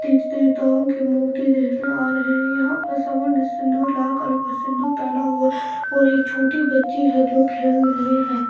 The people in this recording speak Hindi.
देवी देवताओं के मूर्ति देखने आ रहे हैं यहां पर सभी ने सिंदूर लगाकर का सिंदूर पहना हुआ और एक छोटी बच्ची है जो खेल रहे हैं।